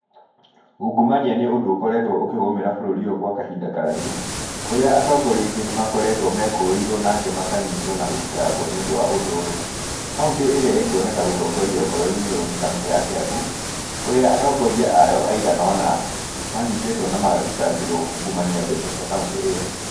Ũngumania nĩ ũndũ ũkoretwo ũkĩgũmĩra bũrũri ũyũ gwa kahinda karaihu, kũrĩa atongoria aingĩ nĩmakoretwo mekũĩirwo na angĩ makanyitwo na gũthitangwo nĩ ũndũ wa ũndũ ũyũ. Kauntĩ ĩrĩa ĩkuoneka gũtongoria ũhoro-inĩ ũyũ nĩ kaũntĩ ya Kĩambu, kũrĩa atongoria ayo aigana ũna, manyitĩtwo na magathitangĩrwo kungumania mbeca cia kauntĩ ĩyo.